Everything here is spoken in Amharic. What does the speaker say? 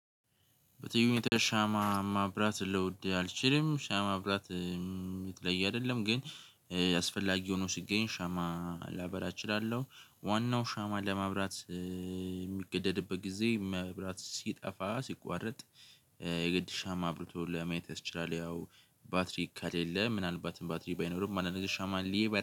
በተዩነት ሻማ ማብራት ልውድ አልችልም ሻማ ማብራት የተለየ አይደለም ግን አስፈላጊ ሆኖ ሲገኝ ሻማ ላበራ እችላለሁ። ዋናው ሻማ ለማብራት የሚገደድበት ጊዜ መብራት ሲጠፋ ሲቋረጥ የግድ ሻማ አብርቶ ለማየት ያስችላል። ያው ባትሪ ከሌለህ የለ ምናልባትም ባትሪ ባይኖርም አንደኛ ሻማሌ